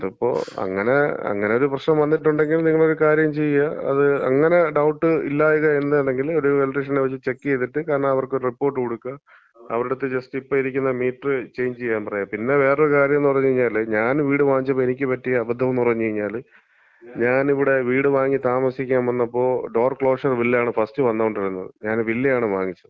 അതിപ്പം, അങ്ങനെ, അങ്ങനൊരു പ്രശ്നം വന്നിട്ടുണ്ടെങ്കിൽ നിങ്ങളൊരു കാര്യം ചെയ്യ്, അത് അങ്ങനെ ഡൗട്ട് ഇല്ലാ എന്നുണ്ടെങ്കില് നേരെ ഒരു ഇലക്ട്രീഷനെ വച്ച് ചെക്ക് ചെയ്തിട്ട് കാരണം അവർക്കൊരു റിപ്പോർട്ട് കൊട്ക്കാ. അവരട്ത്ത് ജസ്റ്റ് ഇപ്പം ഇരിക്കണം മീറ്ററ് ചെയ്ഞ്ച് ചെയ്യാൻ പറയാ. പിന്നെ വേറൊരു കാര്യന്ന് പറഞ്ഞ് കഴിഞ്ഞാല്, ഞാൻ വീട് വാങ്ങിച്ചപ്പം എനിക്ക് പറ്റിയ അബദ്ധന്ന് പറഞ്ഞ് കഴിഞ്ഞാല്, ഞാൻ ഇവിടെ വീട് വാങ്ങി താമസിക്കാൻ വന്നപ്പോ ഡോർ ക്ലോഷർ ബില്ലാണ് ഫസ്റ്റ് വന്നോണ്ടിരുന്നത്. ഞാനൊരു വില്ലയാണ് വാങ്ങിച്ചത്,